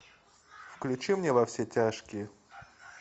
включи мне во все тяжкие